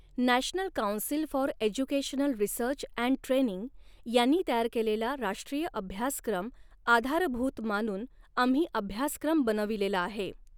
National council for educational research and training यांनी तयार केलेला राष्ट्रीय अभ्यासक्रम आधारभूत मानून आम्ही अभ्यासक्रम बनविलेला आहे.